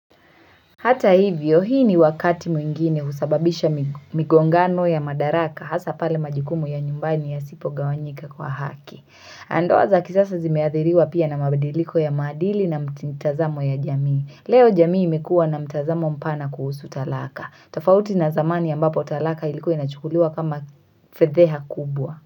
Hata hivyo hii ni wakati mwingine usababisha migongano ya madaraka hasa pale majukumu ya nyumbani yasipo gawanyika kwa haki. Na ndoa za kisasa zimeathiriwa pia na mabadiliko ya madili na mtintazamo ya jamii. Leo jamii imekuwa na mtazamo mpana kuhusu talaka. Tofauti na zamani ambapo talaka ilikuwa inachukuliwa kama fedheha kubwa.